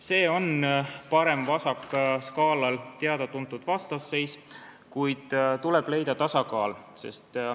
See on teada-tuntud vastasseis parem-vasak-skaalal, kuid tuleb leida tasakaal.